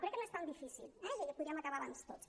crec que no és tan difícil eh i podríem acabar abans tots